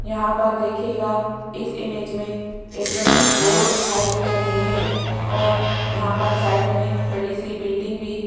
यहां पर देखिएगा इस इमेज में एक रोड दिखाई दे रही है और यहां पर साइड में बड़ी सी बिल्डिंग भी --